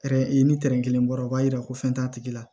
ni kelen bɔra o b'a yira ko fɛn t'a tigi la